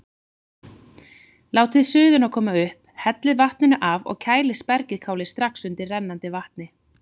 Látið suðuna koma upp, hellið vatninu af og kælið spergilkálið strax undir rennandi vatni.